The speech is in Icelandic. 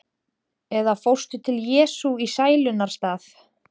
Eða fórstu til Jesú í sælunnar stað?